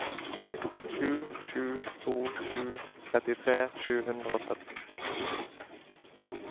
sju sju to sju trettitre sju hundre og sytten